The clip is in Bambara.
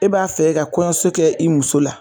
E b'a fɛ k'i ka kɔɲɔso k'i muso la